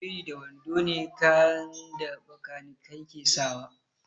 Biri da wando ne kayan da bakanikai ke sawa